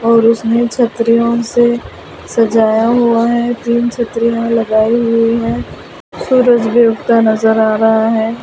और उसमें छतरियों से सजाया हुआ है तीन छतरियां लगाई हुई है सूरज उगता नजर आ रहा है।